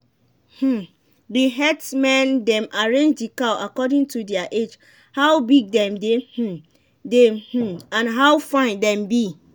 um the herdsmen dem arrange the cow according to their age how big them dey um dey um and how fine them be.